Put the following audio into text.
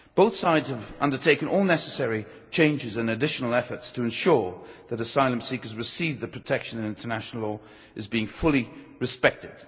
Both sides have undertaken all necessary changes and made additional efforts to ensure that asylum seekers receive the protection and that international law is being fully respected.